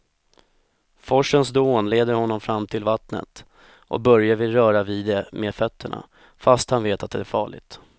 Forsens dån leder honom fram till vattnet och Börje vill röra vid det med fötterna, fast han vet att det är farligt.